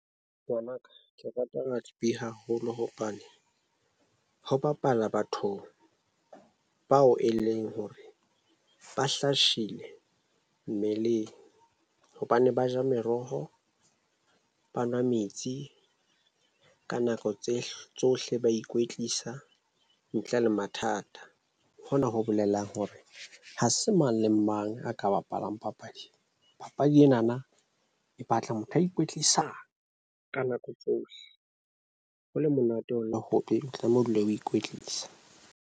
Ngwanaka ke rata rugby haholo hobane ho bapala bathong bao eleng hore ba hlasile mmeleng hobane ba ja meroho, ba nwa metsi ka nako tse tsohle ba ikwetlisa ntle le mathata. Hona ho bolela hore ha se mang le mang a ka bapalang papadi. Papadi ena na e batla motho a ikwetlisa ka nako tsohle. Ho le monate ho le hobe ha tlameha ho dula o ikwetlisang.